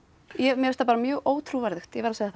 mér finnst það bara mjög ótrúverðugt ég verð að segja það